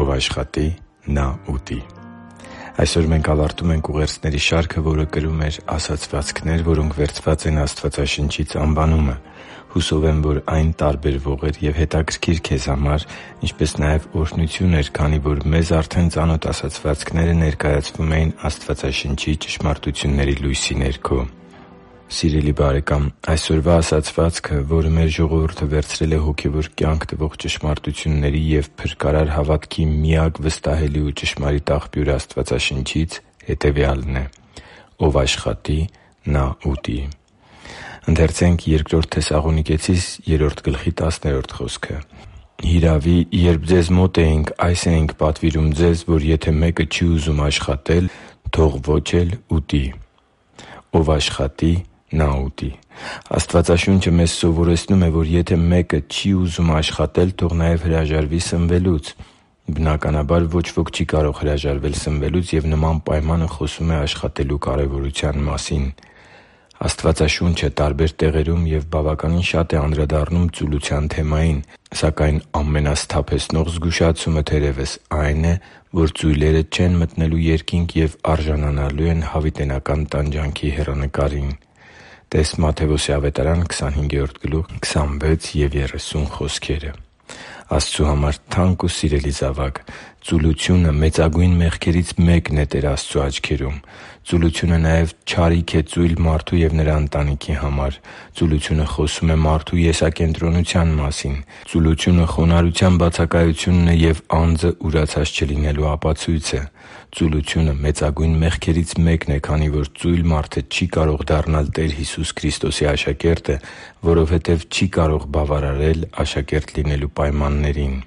Ով աշխատի, նա՛ ուտի Այսօր մենք ավարտում ենք ուղերձների շարքը, որը կրում էր «Ասացվածքներ, որոնք վերցված են Աստվածաշնչից» անվանումը։ Հուսով եմ՝ այն տարբերվող էր և հետաքրքիր քեզ համար, ինչպես նաև օրհնություն էր, քանի որ մեզ արդեն ծանոթ ասացվածքները ներկայացվում էին Աստվածաշնչի ճշմարտությունների լույսի ներքո։ Սիրելի՛ *|FNAME|*, այսօրվա ասացվածքը, որը մեր ժողովուրդը վերցրել է հոգևոր կյանք տվող ճշմարտությունների և փրկարար հավատքի միակ վստահելի ու ճշմարիտ Աստվածաշնչից, հետևյալն է՝ «Ով աշխատի, նա՛ ուտի»։ «Հիրավի երբ ձեզ մոտ էինք, այս էինք պատվիրում ձեզ, որ եթե մեկը չի ուզում աշխատել, թող ոչ էլ ուտի» (Բ Թեսաղոնիկեցիս 3․10): «Ով աշխատի, նա՛ ուտի»։ Աստվածաշունչը մեզ ուսուցանում է, որ եթե մեկը չի ուզում աշխատել, թող նաև հրաժարվի սնվելուց։ Բնականաբար, ոչ ոք չի կարող հրաժարվել սնվելուց, և նման պայմանը խոսում է աշխատելու կարևորության մասին։ Աստվածաշունչը տարբեր տեղերում և բավականին շատ է անդրադառնում ծուլության թեմային։ Սակայն ամենասթափեցնող զգուշացումը, թերևս, այն է, որ ծույլերը չեն մտնելու Երկինք և արժանանալու են հավիտենական տանջանքի հեռանկարին (տե՛ս Մատթեոս 25․26,30 խոսքերը)։ Աստծու համար թանկ ու սիրելի՛ *|FNAME|*, ծուլությունը մեծագույն մեղքերից մեկն է Տեր Աստծու աչքերում։ Ծուլությունը նաև չարիք է ծույլ մարդու և նրա ընտանիքի համար։ Ծուլությունը խոսում է մարդու եսակենտրոնության մասին։ Ծուլությունը խոնարհության բացակայությունն է և անձը ուրացած չլինելու ապացույցը։ Ծուլությունը մեծագույն մեղքերից մեկն է, քանի որ ծույլ մարդը չի կարող դառնալ Տեր Հիսուս Քրիստոսի աշակերտը, որովհետև չի կարող բավարարել աշակերտ լինելու պայմաններին։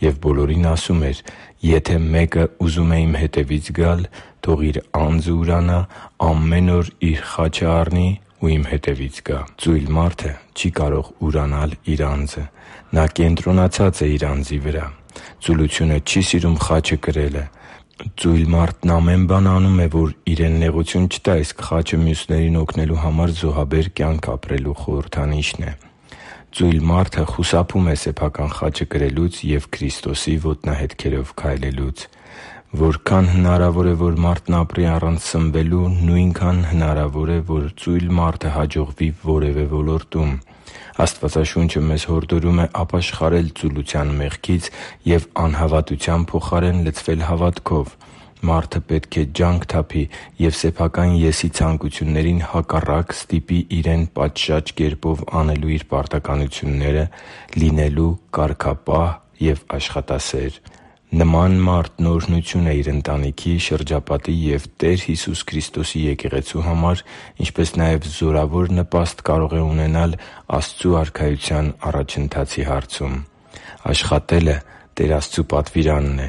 «Եվ բոլորին ասում էր. «Եթե մեկն ուզում է Իմ հետևից գալ, թող իր անձն ուրանա, ամեն օր իր խաչն առնի ու Իմ հետևից գա» (Ղուկաս 9․23): Ծույլ մարդը չի կարող իր անձն ուրանալ։ Նա կենտրոնացած է իր անձի վրա։ Ծուլությունը չի սիրում խաչը կրել։ Ծույլ մարդն ամեն բան անում է, որ իրեն նեղություն չտա, իսկ խաչը մյուսներին օգնելու համար զոհաբեր կյանք ապրելու խորհրդանիշն է։ Ծույլ մարդը խուսափում է սեփական խաչը կրելուց և Քրիստոսի ոտնահետքերով քայլելուց։ Որքան հնարավոր է, որ մարդն ապրի առանց սնվելու, նույնքան հնարավոր է, որ ծույլ մարդը հաջողվի որևէ ոլորտում։ Աստվածաշունչը մեզ հորդորում է ապաշխարել ծուլության մեղքից և անհավատության փոխարեն լցվել հավատքով։ Մարդը պետք է ջանք թափի և սեփական «ես»-ի ցանկություններին հակառակ ստիպի իրեն պատշաճ կերպով անելու իր պարտականությունները, լինելու կարգապահ և աշխատասեր։ Նման մարդն օրհնություն է իր ընտանիքի, շրջապատի ու Տեր Հիսուս Քրիստոսի Եկեղեցու համար, ինչպես նաև զորավոր նպաստ կարող է ունենալ Աստծու Արքայության առաջընթացի հարցում։ Աշխատելը Տեր Աստծու պատվիրանն է։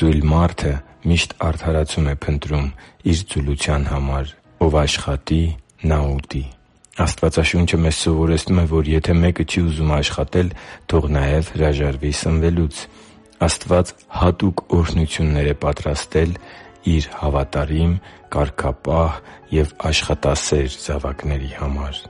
Ծույլ մարդը միշտ արդարացում է փնտրում իր ծուլության համար։ «Ով աշխատի, նա՛ ուտի»։ Աստվածաշունչը մեզ ուսուցանում է, որ եթե մեկը չի ուզում աշխատել, թող նաև հրաժարվի սնվելուց։ Աստված հատուկ օրհնություններ է պատրաստել Իր հավատարիմ, կարգապահ և աշխատասեր զավակների համար